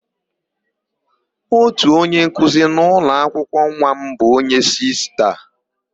Ótù onyenkuzi nọ n'ụlọakwụkwọ nwa m bụ onye Sista.